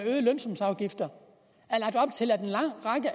øgede lønsumsafgifter